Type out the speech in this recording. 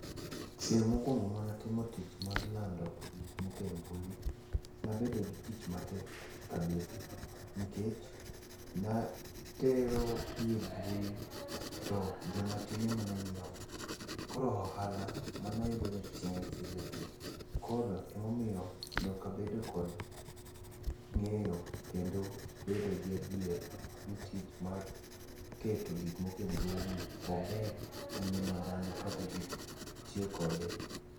Chieng' mokwongo manatimo tich mar lando gikmoko e mbui, nabedo gi ticha matek kabisa nikech naterogi e mbui, to joma tin ema ne nyiewogi, koro ohala manayudo ne tin seriously. koro emomiyo nokabedo kod ng'eyo kendo bedo gi adier ni tich mar keto gikmoko e mbuini, ober gi ngima dhano kata gi tiyo kode.